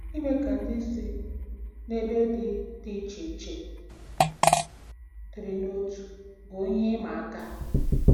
Ime ka ndị si n'ebe dị dị iche iche dịrị n'otu bụ ihe ịma aka.